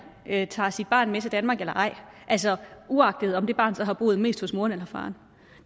tager sit barn med til danmark eller ej altså uagtet om det barn så har boet mest hos moren eller faren